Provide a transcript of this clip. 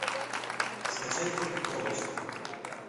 скачай фильм коробочка